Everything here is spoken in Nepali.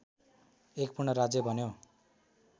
एक पूर्ण राज्य बन्यो